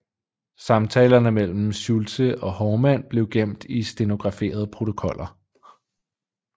Samtalerne mellem Schulze og Haarmann blev gemt i stenograferede protokoller